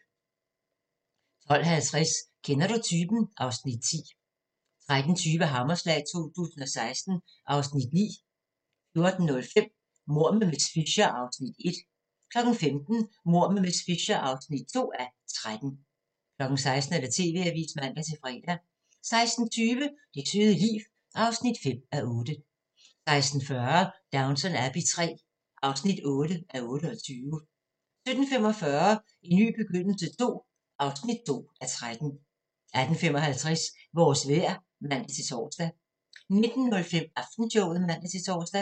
12:50: Kender du typen? (Afs. 10) 13:20: Hammerslag 2016 (Afs. 9) 14:05: Mord med miss Fisher (1:13) 15:00: Mord med miss Fisher (2:13) 16:00: TV-avisen (man-fre) 16:20: Det søde liv (5:8) 16:40: Downton Abbey III (8:28) 17:45: En ny begyndelse II (2:13) 18:55: Vores vejr (man-tor) 19:05: Aftenshowet (man-tor)